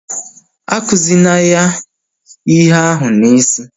Akuzina ya ihe ahụ n'isi!